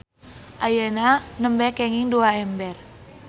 Ayeuna nembe kenging dua ember.